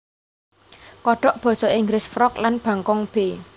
Kodhok basa Inggris frog lan bangkong b